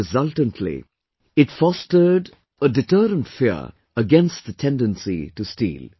And resultantly, it fostered a deterrent fear against the tendency to steal